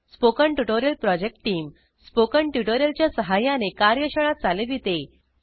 spoken tutorial project team spoken tutorial च्या सहाय्याने कार्यशाळा चालविते